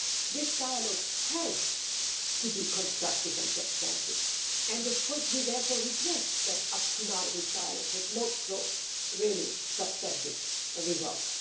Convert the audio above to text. This dialogue has to be constructive and substantive, and of course we therefore regret that, up to now, this dialogue has not brought really substantive results.